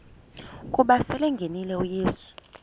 ukuba selengenile uyesu